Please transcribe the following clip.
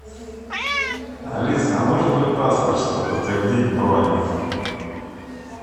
алиса а нужен ли паспорт чтобы подтвердить бронь